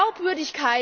will?